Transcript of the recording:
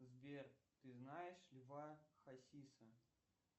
сбер ты знаешь льва хасиса